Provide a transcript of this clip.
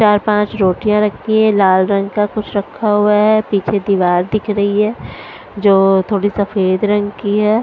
चार पाँच रोटियाँ रखी हैं लाल रंग का कुछ रखा हुआ है पीछे दीवार दिख रही है जो थोड़ी सफेद रंग की है।